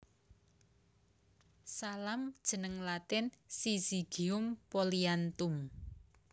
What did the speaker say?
Salam jeneng Latin Syzygium polyanthum